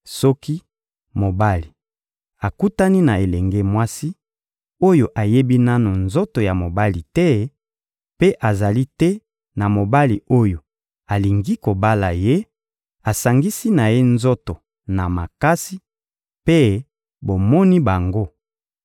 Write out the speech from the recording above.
Soki mobali akutani na elenge mwasi, oyo ayebi nanu nzoto ya mibali te mpe azali te na mobali oyo alingi kobala ye, asangisi na ye nzoto na makasi, mpe bomoni bango;